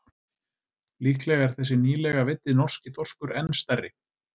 Líklega er þessi nýlega veiddi norski þorskur enn stærri.